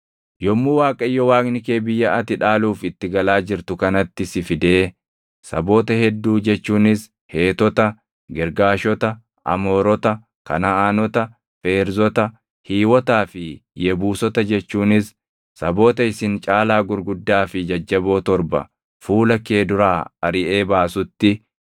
Yommuu Waaqayyo Waaqni kee biyya ati dhaaluuf itti galaa jirtu kanatti si fidee saboota hedduu jechuunis Heetota, Girgaashota, Amoorota, Kanaʼaanota, Feerzota, Hiiwotaa fi Yebuusota jechuunis saboota isin caalaa gurguddaa fi jajjaboo torba fuula kee duraa ariʼee baasutti,